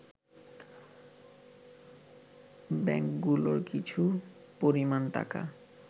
ব্যাংকগুলোর কিছু পরিমাণ টাকা